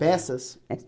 Peças. É